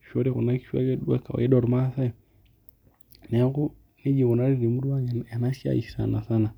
ashu kunakishu duo ake ormaasai neaku nejia ikunari temurua ang enasiai sanisana